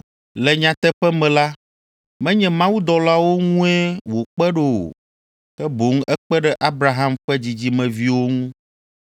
Le nyateƒe me la, menye mawudɔlawo ŋue wòkpe ɖo o, ke boŋ ekpe ɖe Abraham ƒe dzidzimeviwo ŋu.